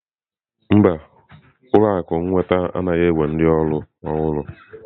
Mba, ụlọ akụ nnweta anaghị ewere ndị ọrụ ọhụrụ.